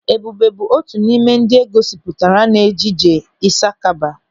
Ebube bụ otu n'ime ndị e gosipụtara n'ejije Ịsakaba.